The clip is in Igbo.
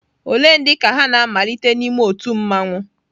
Ole ndị ka ha na-amalite n'ime otu mmanwu?